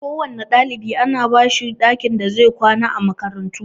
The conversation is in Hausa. Kowanne ɗalibi ana bashi ɗakin da zai kwana a makarantu